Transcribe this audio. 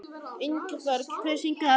Ingberg, hver syngur þetta lag?